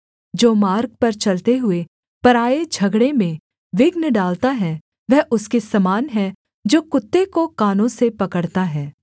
जो मार्ग पर चलते हुए पराए झगड़े में विघ्न डालता है वह उसके समान है जो कुत्ते को कानों से पकड़ता है